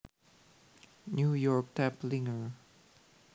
New York Taplinger